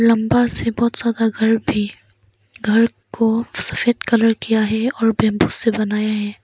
लंबा से बहुत ज्यादा घर भी घर को सफेद कलर किया है और बेम्बू से बनाया है।